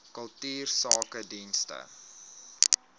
kultuursakedienste